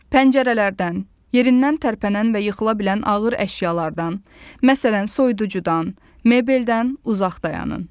Pəncərələrdən, yerindən tərpənən və yıxıla bilən ağır əşyalardan, məsələn, soyuducudan, mebeldən uzaq dayanın.